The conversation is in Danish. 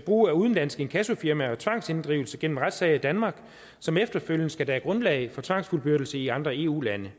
bruge udenlandske inkassofirmaer og tvangsinddrivelse gennem retssager i danmark og som efterfølgende skal danne grundlag for tvangsfuldbyrdelse i andre eu lande